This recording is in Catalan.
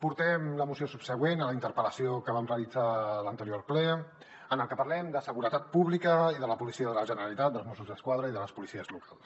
portem la moció subsegüent a la interpel·lació que vam realitzar a l’anterior ple en la que parlem de seguretat pública i de la policia de la generalitat dels mossos d’esquadra i de les policies locals